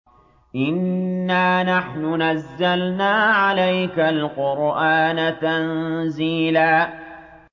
إِنَّا نَحْنُ نَزَّلْنَا عَلَيْكَ الْقُرْآنَ تَنزِيلًا